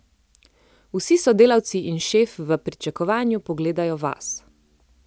Vsi sodelavci in šef v pričakovanju pogledajo vas.